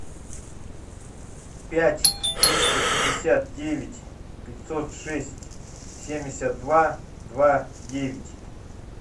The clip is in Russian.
пять триста пятьдесят девять пятьсот шесть семьдесят два два девять